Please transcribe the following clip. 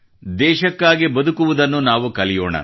ದೇಶಕ್ಕಾಗಿ ಬದುಕುವುದನ್ನು ನಾವು ಕಲಿಯೋಣ